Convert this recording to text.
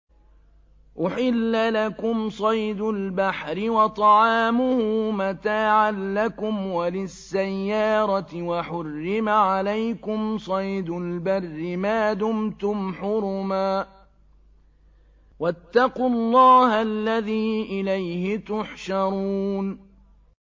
أُحِلَّ لَكُمْ صَيْدُ الْبَحْرِ وَطَعَامُهُ مَتَاعًا لَّكُمْ وَلِلسَّيَّارَةِ ۖ وَحُرِّمَ عَلَيْكُمْ صَيْدُ الْبَرِّ مَا دُمْتُمْ حُرُمًا ۗ وَاتَّقُوا اللَّهَ الَّذِي إِلَيْهِ تُحْشَرُونَ